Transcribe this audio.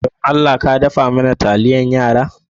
Dan Allah ka daffa mana taliyan yara?